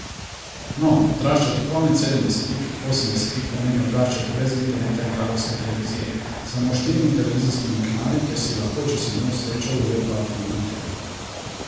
No, odraščati konec sedemdesetih, osemdesetih pomeni odraščati brez interneta in kabelske televizije, s samo štirimi televizijskimi kanali, kjer si lahko, če si imel srečo, ujel dva filma na teden.